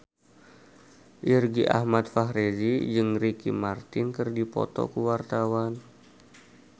Irgi Ahmad Fahrezi jeung Ricky Martin keur dipoto ku wartawan